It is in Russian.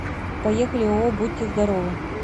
поехали ооо будьте здоровы